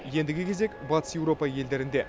ендігі кезек батыс еуропа елдерінде